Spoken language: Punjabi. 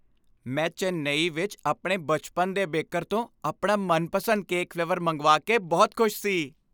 ਮੈਂ ਚੇਨਈ ਵਿੱਚ ਆਪਣੇ ਬਚਪਨ ਦੇ ਬੇਕਰ ਤੋਂ ਆਪਣਾ ਮਨਪਸੰਦ ਕੇਕ ਫਲੇਵਰ ਮੰਗਵਾ ਕੇ ਬਹੁਤ ਖੁਸ਼ ਸੀ।